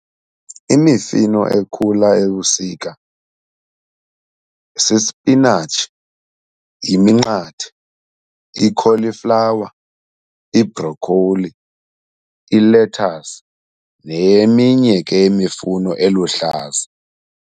Imifino ekhula ebusika sisipinatshi, yiminqathe, ikholiflawa, ibrokholi, ilethasi neminye ke imifuno eluhlaza.